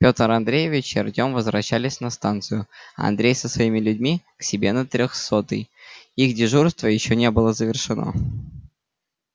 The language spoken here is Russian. пётр андреевич и артём возвращались на станцию а андрей со своими людьми к себе на трёхсотый их дежурство ещё не было завершено